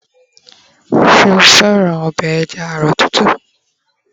ṣe o fẹràn obe eja arọ tútù